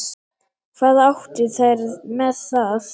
Hvað áttu þær með það?